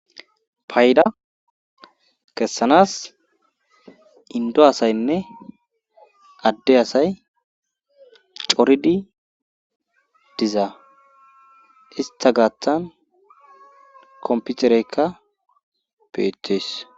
payida kessanas indo asayinne adde asay coridi dizaa ista gaaththan komputereykka beetees